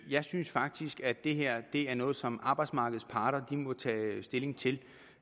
jeg synes faktisk at det her er noget som arbejdsmarkedets parter må tage stilling til